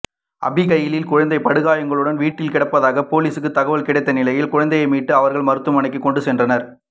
அபிகைலின் குழந்தை படுகாயங்களுடன் வீட்டில் கிடப்பதாக பொலிசுக்கு தகவல் கிடைத்த நிலையில் குழந்தையை மீட்ட அவர்கள் மருத்துவமனைக்கு கொண்டு சென்றனர்